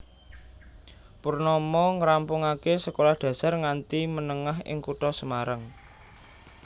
Purnomo ngrampungaké sekolah dasar nganti menengah ing kutha Semarang